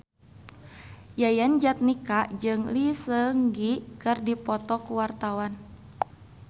Yayan Jatnika jeung Lee Seung Gi keur dipoto ku wartawan